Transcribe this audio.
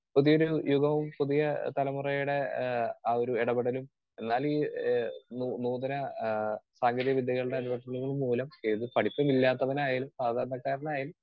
speaker 2 പുതിയൊരു യുഗവും പുതിയ തലമുറയുടെ ആഹ് ആ ഒരു ഇടപെടലും എന്നാലും ഈ ഈ നൂതന ആഹ് സാങ്കേതികവിദ്യകളുടെ മൂലം ഏത് പഠിപ്പും ഇല്ലാത്തവനായാലും സാധാരണക്കാരനായാലും